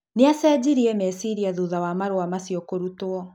nĩ acenjirie meciria thutha wa marua macio kũrutuo